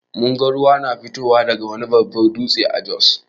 Mun ga ruwa na fitowa daga wani babbar dutse a Jos.